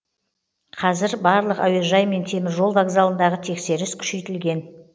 қазір барлық әуежай мен теміржол вокзалындағы тексеріс күшейтілген